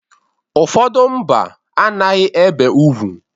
Ụfọdụ mba a naghị ebe ugwu.